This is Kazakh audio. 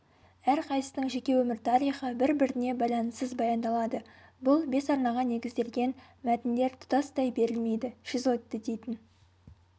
әрқайсысының жеке өмір тарихы бір-біріне байланыссыз баяндалады бұл бес арнаға негізделген мәтіндер тұтастай берілмейді шизоидты дейтін